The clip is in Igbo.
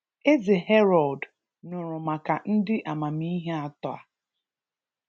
Eze Herọd nụrụ maka ndị amamihe atọ a.